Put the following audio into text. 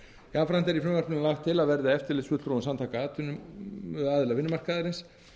jafnframt er í frumvarpinu lagt til að verði eftirlitsfulltrúum samtaka aðila vinnumarkaðarins